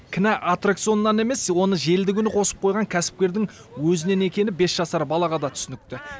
кінә аттракционнан емес оны желді күні қосып қойған кәсіпкердің өзінен екені бес жасар балаға да түсінікті